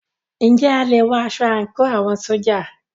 Ǹjẹ́ a lè wọ aṣọ àńkò àwọn ṣójà?